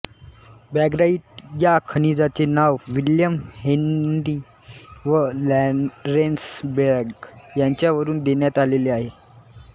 braggite या खनिजाचे नाव विल्यम हेन्री व लॉरेन्स ब्रॅग यांच्यावरुन देण्यात आलेले आहे